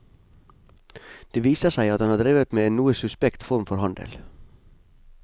Det viser seg at han har drevet med en noe suspekt form for handel.